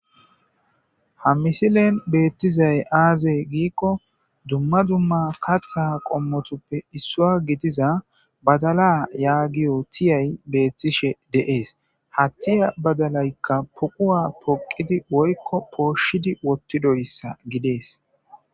Ha misilen beetizay aaze giikon duma duma katha qomotupe gidiza badala yagiyo tiyay beetishe ha tiya badalayka poquwa poqidi woyko pooshshidi wothidaysa gides.